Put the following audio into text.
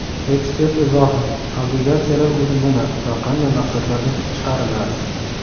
Ekspert izohi: Obligatsiyalar o‘zi nima va qanday maqsadlarda chiqariladi?.